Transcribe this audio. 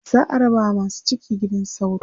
za'a raba wa masu ciki gidan sauro